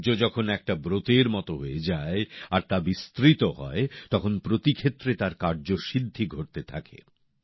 শৌর্য যখন একটা ব্রতের মত হয়ে যায় আর তা বিস্তৃত হয় তখন প্রতিক্ষেত্রে তার কার্যসিদ্ধি ঘটতে থাকে